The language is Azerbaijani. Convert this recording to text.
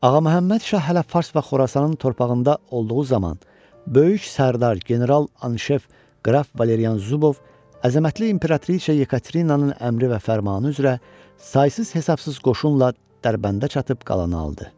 Ağa Məhəmməd Şah hələ Fars və Xorasanın torpağında olduğu zaman, böyük sərdar general Anşef qraf Valerian Zubov əzəmətli İmperatrisa Yekaterinanın əmri və fərmanı üzrə saysız-hesabsız qoşunla Dərbəndə çatıb qalanı aldı.